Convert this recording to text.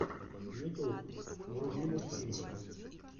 ютюб вруби мультфильмы